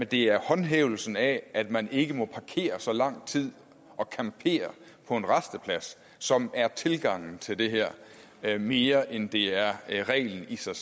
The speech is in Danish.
det er håndhævelsen af at man ikke må parkere så lang tid og campere på en rasteplads som er tilgangen til det her her mere end det er reglen i sig